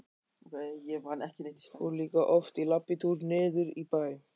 Fóru líka oft í labbitúr niður í bæ.